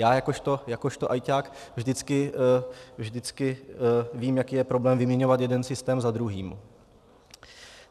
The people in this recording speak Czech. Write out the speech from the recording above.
Já jakožto ajťák vždycky vím, jaký je problém vyměňovat jeden systém za druhý.